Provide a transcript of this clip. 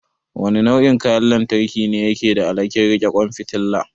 Wane nau'in kayan lantarki ne yake da alhakin riƙe ƙwan fitala?